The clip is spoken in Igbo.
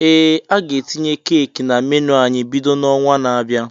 Ee, a ga etinye Keeki na menu ányị́ bido n'ọnwa na-abịanụ